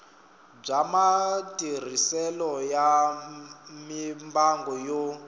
bya matirhiselo ya mimbangu yo